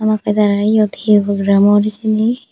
okkey tarayot he program or hejeni.